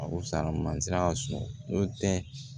A kosa mansin y'a sɔrɔ n'o tɛ